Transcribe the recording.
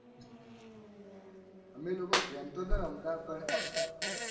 અમે લોકો game તો ન રમતા પણ.